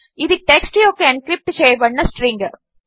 ఇది టెక్స్ట్ యొక్క ఎన్క్రిప్ట్ చేయబడిన స్ట్రింగ్